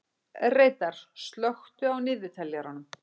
Reidar, slökktu á niðurteljaranum.